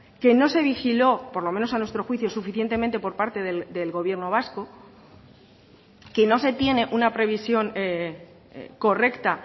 que no se vigiló por lo menos a nuestro juicio suficientemente por parte del gobierno vasco que no se tiene una previsión correcta